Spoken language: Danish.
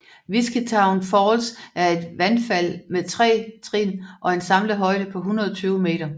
Whiskeytown Falls er et vandfald med tre trin og en samlet højde på 120 meter